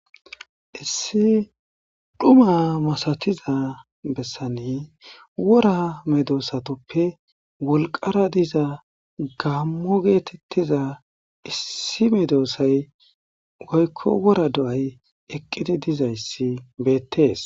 Issi xuma masatiza bessan wora medosatupe wolqara diza gamo getetiza issi medosayi woyiko wora do,ayi eqidi dizayisi betees